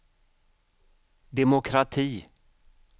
demokrati